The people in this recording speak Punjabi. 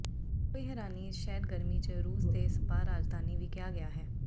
ਕੋਈ ਹੈਰਾਨੀ ਇਸ ਸ਼ਹਿਰ ਗਰਮੀ ਜ ਰੂਸ ਦੇ ਸਪਾ ਰਾਜਧਾਨੀ ਵੀ ਕਿਹਾ ਗਿਆ ਹੈ